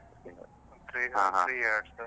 Three years .